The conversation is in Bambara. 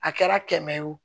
A kɛra kɛmɛ ye o